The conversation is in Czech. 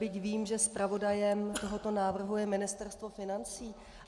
Byť vím, že zpravodajem tohoto návrhu je Ministerstvo financí.